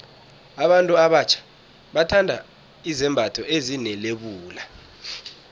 abantu abatjha bathanda izembatho ezine lebula